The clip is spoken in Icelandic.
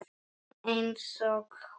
Einsog hún.